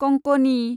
Konkani